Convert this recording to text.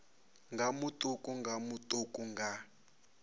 nga matuku nga matuku nga